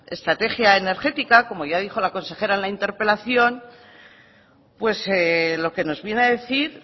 estrategia energética como ya dijo la consejera en la interpelación pues lo que nos viene a decir